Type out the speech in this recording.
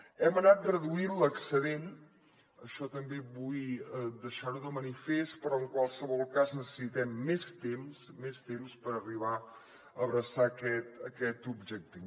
hem anat reduint l’excedent això també vull deixarho de manifest però en qualsevol cas necessitem més temps més temps per arribar a abraçar aquest objectiu